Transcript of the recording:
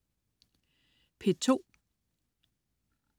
P2: